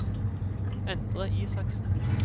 Endre Isaksen